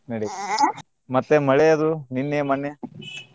ನಡಿತೆತ್ರಿ ಮತ್ತೆ ಮಳಿ ಅದು ನಿನ್ನೆ ಮೊನ್ನೆ .